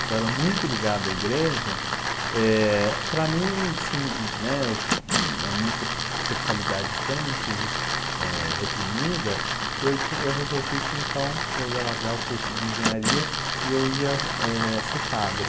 que eu era muito ligado à igreja, é. para mim, sim, a minha sexualidade extremamente reprimida, eu resolvi que, então, eu ia largar o curso de engenharia e eu ia é ser padre.